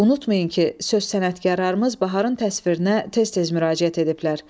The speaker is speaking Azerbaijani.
Unutmayın ki, söz sənətkarlarımız baharın təsvirinə tez-tez müraciət ediblər.